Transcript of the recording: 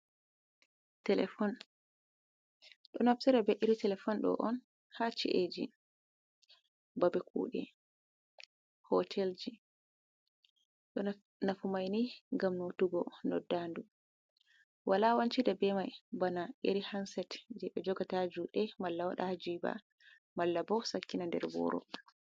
Telefon ɗo naftira be iri telefon ɗo on haa chi’eji, babe kuɗe, hotelji, ɗo nafumaini ngam notugo noddandu. Wala wancida be mai bana iri hanset je ɓe jogata haa juuɗe, malla waɗa haa jiba, malla bo sakkina nder boro.